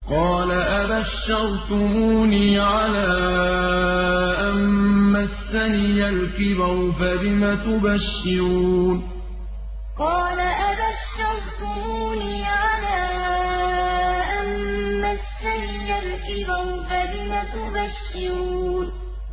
قَالَ أَبَشَّرْتُمُونِي عَلَىٰ أَن مَّسَّنِيَ الْكِبَرُ فَبِمَ تُبَشِّرُونَ قَالَ أَبَشَّرْتُمُونِي عَلَىٰ أَن مَّسَّنِيَ الْكِبَرُ فَبِمَ تُبَشِّرُونَ